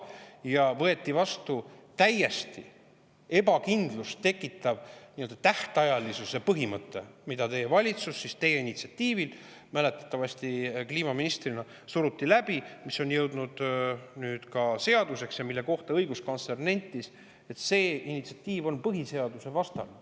Ja võeti vastu täielikku ebakindlust tekitav tähtajalisuse põhimõte, mida teie valitsus teie initsiatiivil – te olite ju enne kliimaminister – surus läbi ja mis on nüüd jõudnud ka seadusse ja mille kohta õiguskantsler ütles, et see initsiatiiv on põhiseadusvastane.